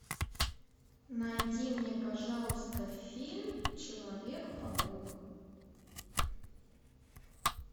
найди мне пожалуйста фильм человек паук